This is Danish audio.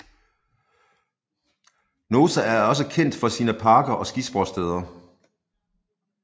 Naousa er også kendt for sine parker og skisportssteder